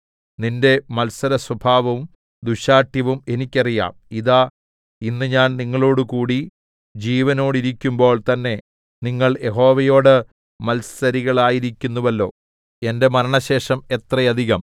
നിന്റെ മത്സരസ്വഭാവവും ദുശ്ശാഠ്യവും എനിക്കറിയാം ഇതാ ഇന്ന് ഞാൻ നിങ്ങളോടുകൂടി ജീവനോടിരിക്കുമ്പോൾ തന്നേ നിങ്ങൾ യഹോവയോട് മത്സരികളായിരിക്കുന്നുവല്ലോ എന്റെ മരണശേഷം എത്ര അധികം